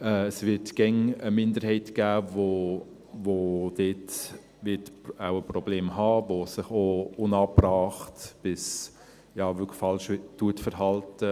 Es wird immer eine Minderheit geben, die dort wohl Probleme haben wird, die sich auch unangebracht bis ja wirklich falsch verhält.